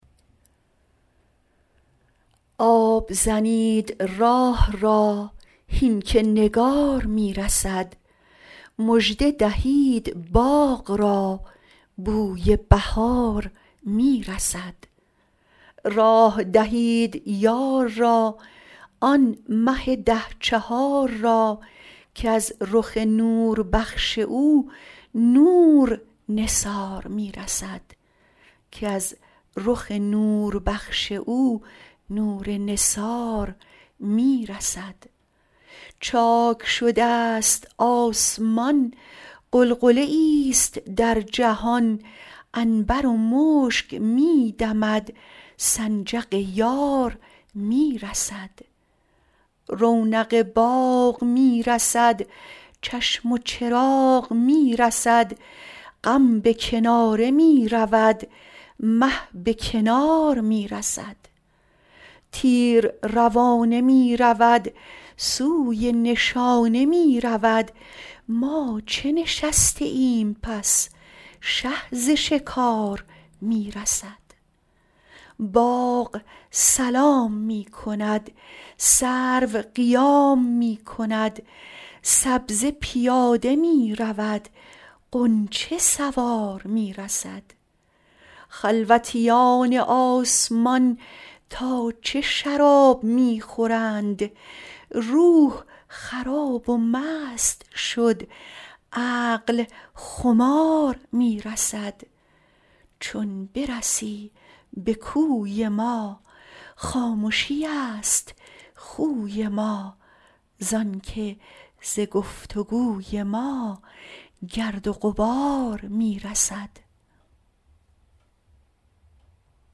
آب زنید راه را هین که نگار می رسد مژده دهید باغ را بوی بهار می رسد راه دهید یار را آن مه ده چهار را کز رخ نوربخش او نور نثار می رسد چاک شدست آسمان غلغله ای است در جهان عنبر و مشک می دمد سنجق یار می رسد رونق باغ می رسد چشم و چراغ می رسد غم به کناره می رود مه به کنار می رسد تیر روانه می رود سوی نشانه می رود ما چه نشسته ایم پس شه ز شکار می رسد باغ سلام می کند سرو قیام می کند سبزه پیاده می رود غنچه سوار می رسد خلوتیان آسمان تا چه شراب می خورند روح خراب و مست شد عقل خمار می رسد چون برسی به کوی ما خامشی است خوی ما زان که ز گفت و گوی ما گرد و غبار می رسد